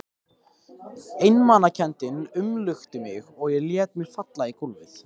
Einmanakenndin umlukti mig og ég lét mig falla í gólfið.